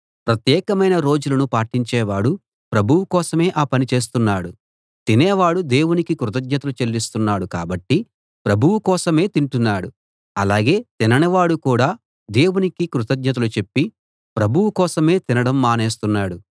ప్రత్యేకమైన రోజులను పాటించేవాడు ప్రభువు కోసమే ఆ పని చేస్తున్నాడు తినేవాడు దేవునికి కృతజ్ఞతలు చెల్లిస్తున్నాడు కాబట్టి ప్రభువు కోసమే తింటున్నాడు అలాగే తిననివాడు కూడా దేవునికి కృతజ్ఞతలు చెప్పి ప్రభువు కోసమే తినడం మానేస్తున్నాడు